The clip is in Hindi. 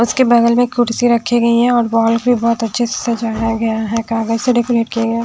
उसके बगल में कुर्सी रखी गई है और बॉल भी बहुत अच्छे से सजा गया है से डेकोरेट किया गया है।